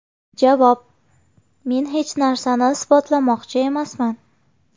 Javob: Men hech narsani isbotlamoqchi emasman.